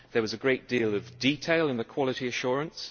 there was a great deal of detail in the quality assurance